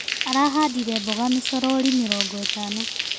Arahandire mboga micorori mĩrongo itano.